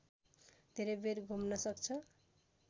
धेरै बेर घुम्न सक्छ